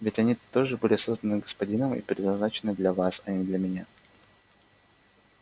ведь они тоже были созданы господином и предназначены для вас а не для меня